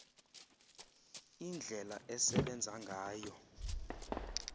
indlela esebenza ngayo